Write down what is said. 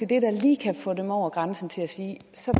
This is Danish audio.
det der lige kan få dem over grænsen til at sige så